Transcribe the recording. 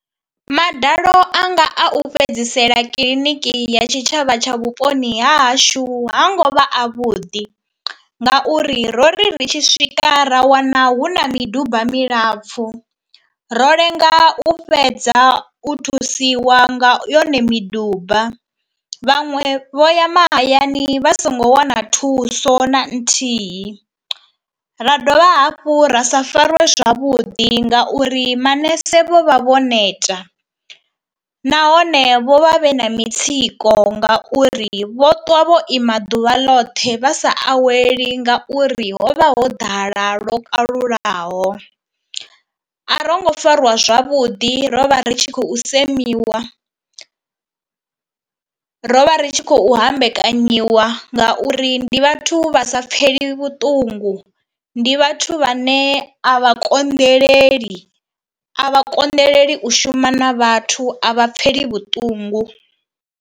Madalo a nga a u fhedzisela kiḽiniki ya tshitshavha tsha vhuponi hahashu ha ngo vha avhuḓi ngauri ro ri tshi swika ra wana hu na miduba milapfhu ro lenga u fhedza u thusiwa nga yone miduba. Vhaṅwe vho ya mahayani vha songo wana thuso na nthihi, ra dovha hafhu ra sa fariwe zwavhuḓi, ngauri manese vho vha vho neta nahone vho vha vhe na mitsiko ngauri vho ṱwa vho ima ḓuvha loṱhe vha sa aweli, ngauri ho vha ho ḓala lwo kalulaho. A ro ngo fariwa zwavhuḓi ro vha ri tshi khou semiwa, ro vha ri tshi khou hama vhekanyiwa ngauri ndi vhathu vha sa pfheli vhuṱungu, ndi vhathu vhane a vha konḓeleli, a vha konḓeleli u shuma na vhathu, a vha pfhela vhuṱungu.